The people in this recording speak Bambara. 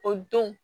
O don